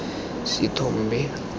sethombe